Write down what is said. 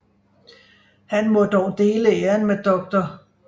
Han må dog dele æren med dr